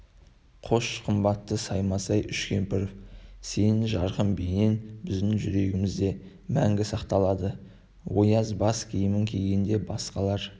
хош қымбатты саймасай үшкемпіров сенің жарқын бейнең біздің жүрегімізде мәңгі сақталады ояз бас киімін кигенде басқалар